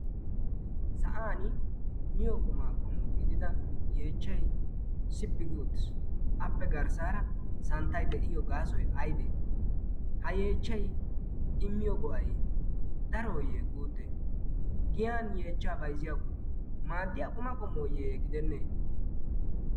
sa'an miyo qumaa qomu gidida yeechchai sippigootis appe garssaara santtay de'iyo gaasoy aydee? ha yeechchay i miyo guwai darooyyee guutte' giyan yeechcha bayzziyaako maaddiya quma qomooyye gidennee?